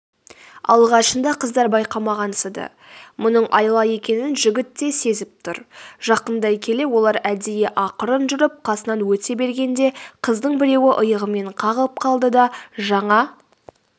алғашында қыздар байқамағансыды мұның айла екенін жігіт те сезіп тұр жақындай келе олар әдейі ақырын жүріп қасынан өте бергенде қыздың біреуі иығымен қағып қалды да жаңа